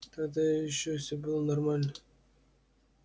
тогда ещё всё было нормально